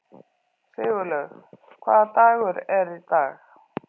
Sigurlaug, hvaða dagur er í dag?